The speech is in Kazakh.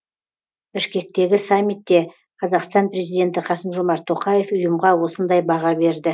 бішкектегі саммитте қазақстан президенті қасым жомарт тоқаев ұйымға осындай баға берді